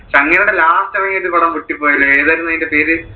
last ഇറങ്ങിയ ഒരു പടം പൊട്ടിപ്പോയല്ലോ ഏതായിരുന്നു അതിന്റെ പേര്?